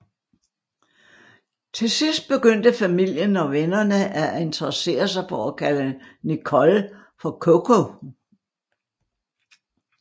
Til sidst begyndte familien og vennerne at interessere sig for at kalde Nicole for Coco